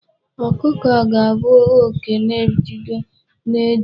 Ọkụkọ ga-abụ oke na-ebido n'eju.